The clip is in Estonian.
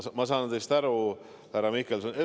Ma saan teist aru, härra Mihkelson.